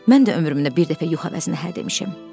Mən də ömrümdə bir dəfə yox əvəzinə hə demişəm.